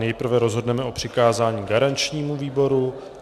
Nejprve rozhodneme o přikázání garančnímu výboru.